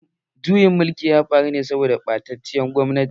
Juyin mulkin ya faru ne saboda ɓatacciyar gwamnati.